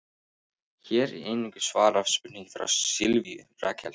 Hér er einnig svarað spurningu frá Sylvíu Rakel: